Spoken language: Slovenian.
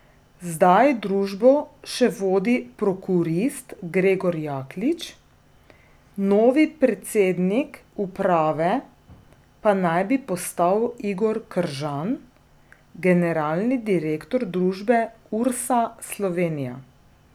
Zdaj družbo še vodi prokurist Gregor Jaklič, novi predsednik uprave pa naj bi postal Igor Kržan, generalni direktor družbe Ursa Slovenija.